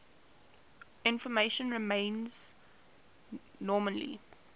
information remains nominally